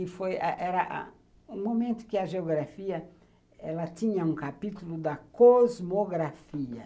Que foi, era o momento em que a geografia ela tinha um capítulo da cosmografia.